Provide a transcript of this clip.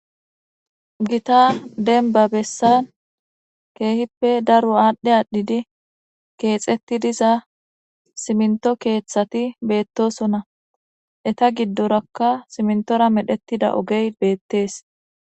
gita denba bessan keehippe daro aadhdhe aadhidi keexetti diza siminto keeththati beettosona eta giddorakka simntora medhetida ogey beettees